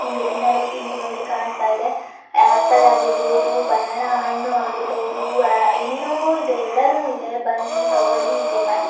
ಹಿಂಗ್ ತಿನ್ನಲು ಇಲ್ಲಿ ನೋಡಿ ಕಾಣಸ್ತಾ ಇದೆ ಆಪಲ್ ಆಗಿರಬಹುದು ಬನಾನ ಹಣ್ಣು ಆಗಿರಬಹುದು ಏನೇನೊ ಇದೆ ಎಲ್ಲಾನು ಇದೆ ಬನ್ನಿ ತೋಕೋಳಿ ವಿಸಿಟ್ ಮಾಡಿ .